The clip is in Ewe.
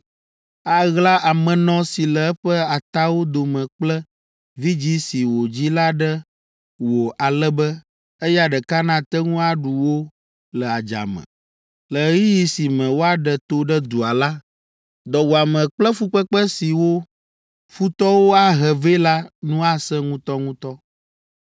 Aɣla amenɔ si le eƒe atawo dome kple vidzĩ si wòdzi la ɖe wò ale be eya ɖeka nate ŋu aɖu wo le adzame. Le ɣeyiɣi si me woaɖe to ɖe dua la, dɔwuame kple fukpekpe si wò futɔwo ahe vɛ la nu asẽ ŋutɔŋutɔ.